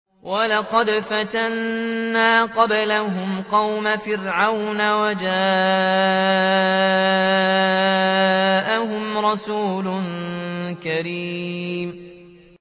۞ وَلَقَدْ فَتَنَّا قَبْلَهُمْ قَوْمَ فِرْعَوْنَ وَجَاءَهُمْ رَسُولٌ كَرِيمٌ